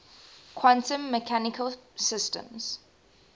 quantum mechanical systems